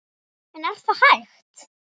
En er það hægt?